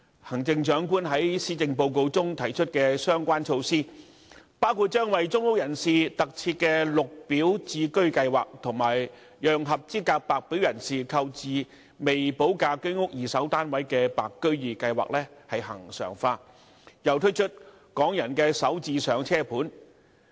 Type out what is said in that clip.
行政長官在施政報告中提出的相關措施，包括為公屋人士特設的"綠表置居計劃"，以及把讓合資格白表人士購置未補價的居屋二手市場單位的"白居二"計劃恆常化，並推出"港人首置上車盤"。